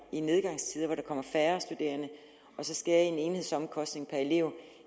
i nedgangstider hvor der kommer færre studerende og så skære i enhedsomkostningerne per elev